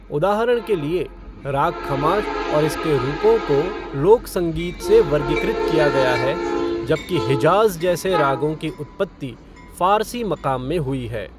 उदाहरण के लिए, राग खमाज और इसके रूपों को लोक संगीत से वर्गीकृत किया गया है, जबकि हिजाज़ जैसे रागों की उत्पत्ति फ़ारसी मक़ाम में हुई है।